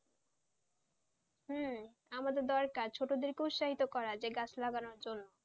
হম আমাদের দরকার ছোটদের উৎসাহিত করা গাছ লাগানোর জন্য,